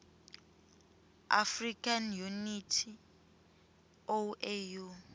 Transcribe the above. african unity oau